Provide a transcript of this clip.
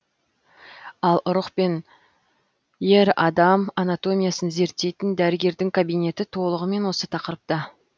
ал ұрық пен ер адам анатомиясын зерттейтін дәрігердің кабинеті толығымен осы тақырыпта